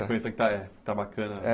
A sequência que está é está bacana.